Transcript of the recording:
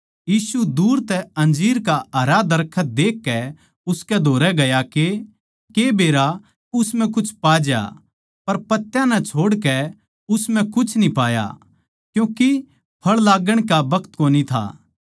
यीशु दूर तै अंजीर का हरा दरखत देखकै उसकै धोरै गया के के बेरा उस म्ह कुछ पा ज्या पर पत्त्या नै छोड़कै उस म्ह कुछ न्ही पाया क्यूँके फळ लाग्गण का बखत कोनी था